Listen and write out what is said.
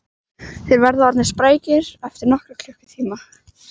Þeir verða orðnir sprækir eftir nokkra klukkutíma